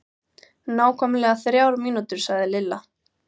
Nákvæmlega þrjár mínútur sagði Lilla.